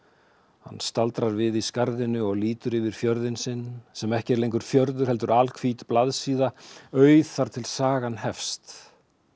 hann staldrar við í skarðinu og lítur yfir fjörðinn sinn sem ekki er lengur fjörður heldur alhvít blaðsíða auð þar til sagan hefst